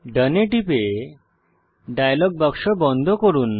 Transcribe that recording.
ডোন এ টিপে ডায়ালগ বাক্স বন্ধ করুন